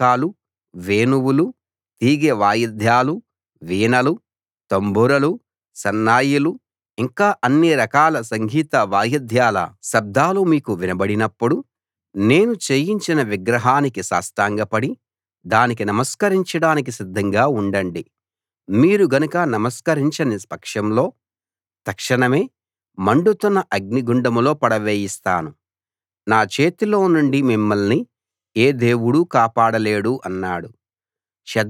బాకాలు వేణువులు తీగె వాయిద్యాలు వీణలు తంబురలు సన్నాయిలు ఇంకా అన్ని రకాల సంగీత వాయిద్యాల శబ్దాలు మీకు వినబడినప్పుడు నేను చేయించిన విగ్రహానికి సాష్టాంగపడి దానికి నమస్కరించడానికి సిద్ధంగా ఉండండి మీరు గనక నమస్కరించని పక్షంలో తక్షణమే మండుతున్న అగ్నిగుండంలో పడవేయిస్తాను నా చేతిలో నుండి మిమ్మల్ని ఏ దేవుడూ కాపాడలేడు అన్నాడు